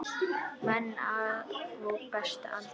Menn á besta aldri.